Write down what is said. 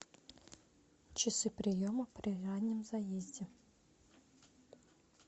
часы приема при раннем заезде